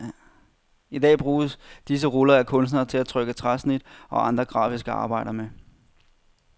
I dag bruges disse ruller af kunstnere til at trykke træsnit og andre grafiske arbejder med.